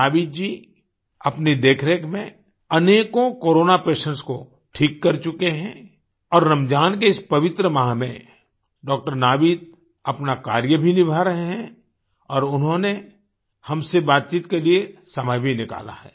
नावीद जी अपनी देखरेख में अनेकों कोरोना पेशेंट्स को ठीक कर चुके हैं और रमजान के इस पवित्र माह में डॉ नावीद अपना कार्य भी निभा रहे हैं और उन्होंने हमसे बातचीत के लिए समय भी निकाला है